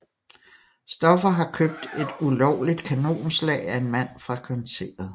Stoffer har købt et ulovligt kanonslag af en mand fra kvarteret